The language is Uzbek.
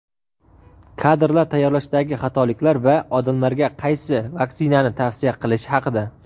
kadrlar tayyorlashdagi xatoliklar va odamlarga qaysi vaksinani tavsiya qilishi haqida.